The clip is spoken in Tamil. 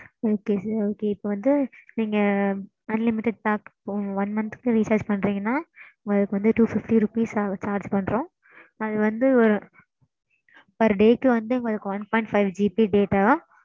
okay sir okay இப்போ வந்து நீங்க unlimited pack one month recharge க்கு பண்ணறீங்கனா. உங்களுக்கு வந்து two fifty rupees charge பண்றோம். அது வந்து. per day க்கு வந்து உங்களுக்கு one point fiveGBdata.